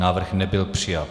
Návrh nebyl přijat.